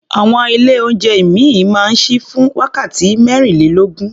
Àwọn ilé-oúnjẹ ìmíì máa ń ṣí fún wákàtí mẹ́rìnlélógún.